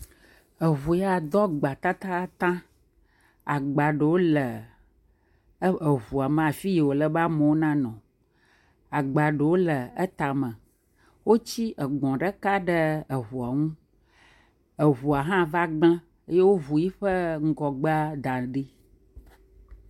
Eŋu ya do agba tatataŋ. Agba ɖewo le eƒ, eŋua me afi yi wòle be amewo nanɔ. Agba ɖewo le etame. Wotsi egbɔ̃ ɖeka ɖe eŋuɔ ŋu. Eŋuɔ hã va gblẽ eye woŋu yiƒe ŋgɔgbea da ɖi.